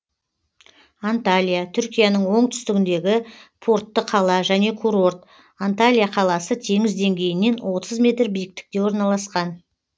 анталия түркияның оң түстігіндегі портты қала және курорт анталия қаласы теңіз деңгейінен отыз метр биіктікте орналасқан